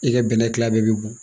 I ka bɛnɛ tila bɛɛ bɛ bɔn